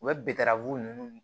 U bɛ ninnu